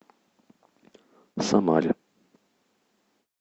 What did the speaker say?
самаре